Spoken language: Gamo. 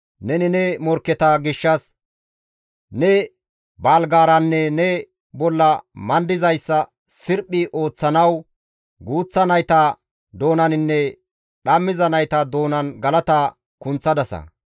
Neni ne morkketa gishshas ne baalgaaranne ne bolla mandizayssa sirphi ooththanawu guuththa nayta doonaninne dhammiza nayta doonan galata kunththadasa.